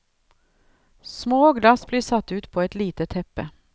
Små glass blir satt ut på et lite teppe.